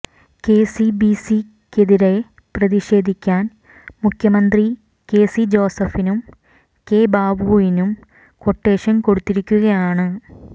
കെസിബിസിക്കെതിരെ പ്രതിഷേധിക്കാൻ മുഖ്യമന്ത്രി K C ജോസഫിനും കെ ബാബുവിനും ക്വട്ടേഷൻ കൊടുത്തിരിക്കുകയാണ്